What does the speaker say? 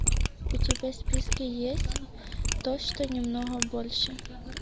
у тебя в списке есть то что немного больше